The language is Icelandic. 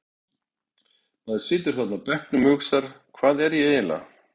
Maður situr þarna á bekknum og hugsar Hvað er ég eiginlega?